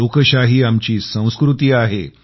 लोकशाही आमची संस्कृती आहे